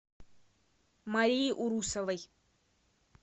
марии урусовой